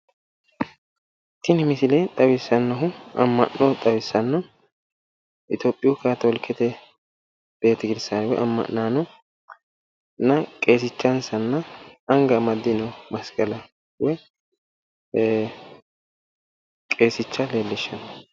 Tini misile xawissannohu amma'no xawissanno itiopiyu kaatoolikete amma'nonna qeesinchansa hattono anga amaddonoha masqalana qeesicha leellishanno